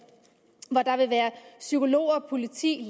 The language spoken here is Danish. der vil være psykologer politi